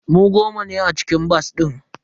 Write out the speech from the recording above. Mu goma ne a cikin bas din.